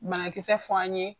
Banakisɛ fɔ an ye.